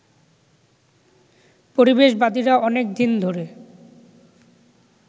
পরিবেশবাদীরা অনেক দিন ধরে